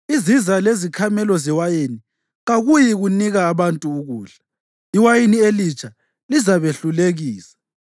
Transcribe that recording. Iziza lezikhamelo zewayini kakuyikunika abantu ukudla; iwayini elitsha lizabehlulekisa.